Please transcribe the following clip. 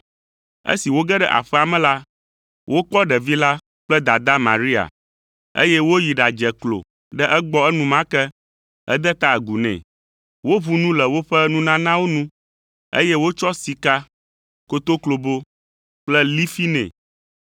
Esi woge ɖe aƒea me la, wokpɔ ɖevi la kple dadaa Maria, eye woyi ɖadze klo ɖe egbɔ enumake hede ta agu nɛ. Woʋu nu le woƒe nunanawo nu, eye wotsɔ sika, kotoklobo kple lifi nɛ.